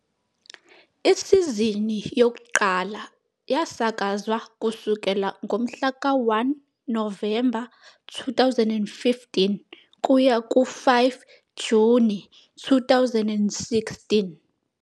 Isizini yokuqala yasakazwa kusukela ngomhlaka 1 Novemba 2015 kuya ku-5 Juni 2016.